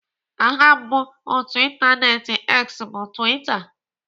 Aha mbụ otú ịntaneetị X bụ Twitter.